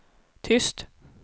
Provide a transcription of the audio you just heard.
tyst